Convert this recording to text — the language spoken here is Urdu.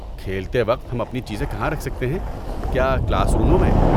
کھیلتے وقت ہم اپنی چیزیں کہاں رکھ سکتے ہیں، کیا کلاس روموں میں؟